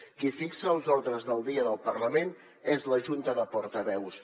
qui fixa els ordres del dia del parlament és la junta de portaveus